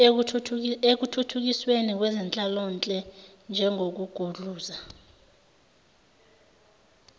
ekuthuthukisweni kwezenhlalonhle njengokugudluza